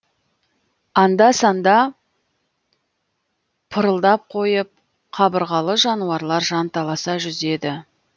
анда санда пырылдап қойып қабырғалы жануарлар жанталаса жүзеді